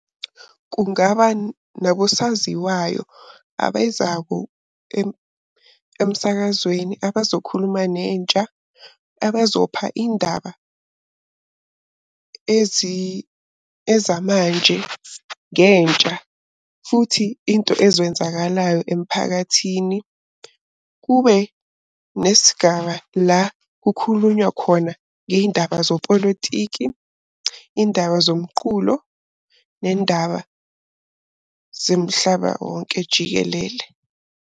Kungaba nakusaziwayo abezako emsakazweni abazokhuluma nentsha. Abazopha indaba ezamanje ngentsha futhi into ezenzakalayo emphakathini. Kube nesigaba la kukhulunywa khona ngey'ndaba zepolotiki, iy'ndaba zomqulo, nendaba zemhlaba wonke jikelele.